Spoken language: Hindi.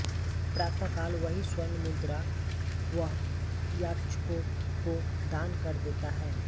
प्रातकाल वही स्वर्ण मुद्राएँ वह याचकों को दान कर देता है